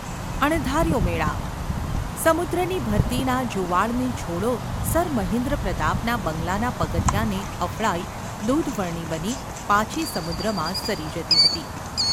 અણધાર્યો મેળાપ સમુદ્રની ભરતીના જુવાળની છોળો સર મહેન્દ્રપ્રતાપના બંગલાનાં પગથિયાંને અફળાઈ, દૂધવર્ણી બની પાછી સમુદ્રમાં સરી જતી હતી.